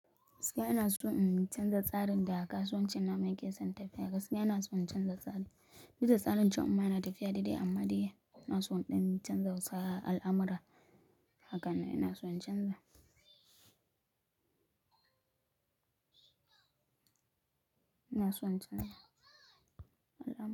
Sai ana so in canza tsarin da kasuwancin namu yake san tafiya. Gaskiya ina so in canza tsari. Bisa tsarin can in ma na tafiya daidai amma dai ina so in dan canza sa al'amura. Haka ne, ina so in canza. Ina son canza.